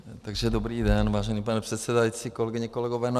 Takže dobrý den, vážený pane předsedající, kolegyně, kolegové.